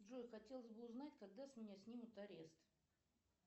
джой хотелось бы узнать когда с меня снимут арест